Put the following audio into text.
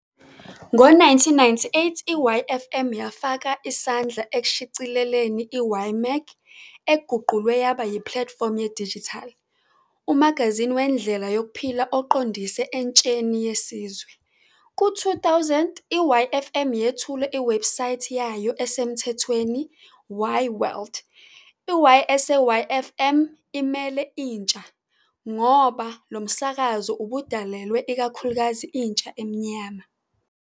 Ngo-1998 i-Yfm yafaka isandla ekushicileleni i- Y-Mag, eguqulwe yaba yiplatifomu yedijithali, umagazini wendlela yokuphila oqondise entsheni yesizwe. Ku-2000, i-Yfm yethule iwebhusayithi yayo esemthethweni- YWorld. I- "Y" eseYfm imele "Intsha" ngoba lo msakazo ubudalelwe ikakhulukazi intsha emnyama.